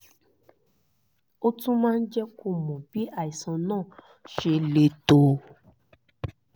ó tún máa jẹ́ kó o mọ bí àìsàn náà ṣe le tó